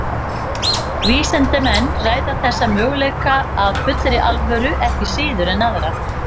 Vísindamenn ræða þessa möguleika af fullri alvöru ekki síður en aðra.